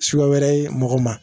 Suguya wɛrɛ ye mɔgɔ ma